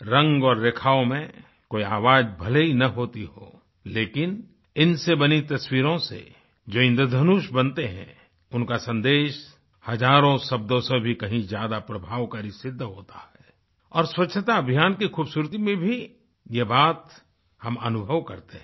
रंग और रेखाओं में कोई आवाज भले न होती हो लेकिन इनसे बनी तस्वीरों से जो इन्द्रधनुष बनते हैं उनका सन्देश हजारों शब्दों से भी कहीं ज्यादा प्रभावकारी सिद्ध होता है और स्वच्छता अभियान की खूबसूरती में भी ये बात हम अनुभव करते हैं